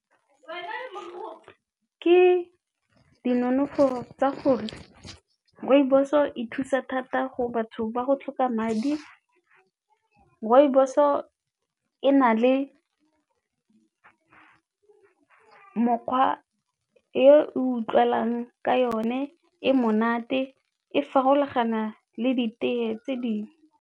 Ke dinonofo tsa gore rooibos-o e thusa thata go batho ba go tlhoka madi, rooibos o e na le mokgwa e utlwalang ka yone, e monate e farologana le ditee tse dingwe.